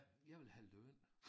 Jeg vil have løn